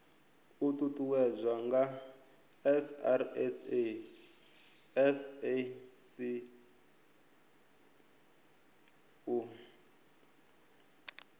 uuwedzwa nga srsa sasc u